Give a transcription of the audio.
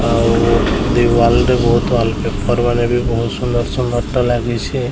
ଆଉ the wall ରେ ବୋହୁତ୍ ୱାଲପେପର ମାନେ ବି ବୋହୁତ୍ ସୁନ୍ଦର ସୁନ୍ଦର୍ ତ ଲାଗିଛେ।